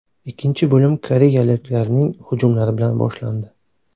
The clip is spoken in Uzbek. Ikkinchi bo‘lim koreyaliklarning hujumlari bilan boshlandi.